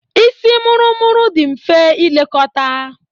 Isi mụrụ-mụrụ dị mfe ilekọta.